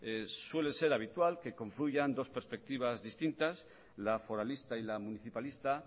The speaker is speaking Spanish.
suele ser habitual que confluyan dos perspectivas distintas la foralista y la municipalista